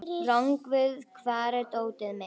Rongvuð, hvar er dótið mitt?